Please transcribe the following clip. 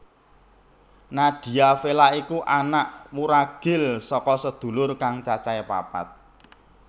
Nadia Vella iku anak wuragil saka sedulur kang cacahé papat